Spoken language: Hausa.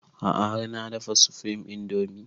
A'a har na dafa supreme indomie